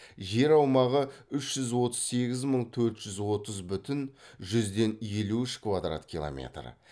жер аумағы үш жүз отыз сегіз мың төрт жүз отыз бүтін жүзден елу үш квадрат километр